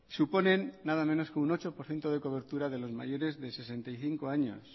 suponen nada menos que un ocho por ciento de cobertura de los mayores de sesenta y cinco años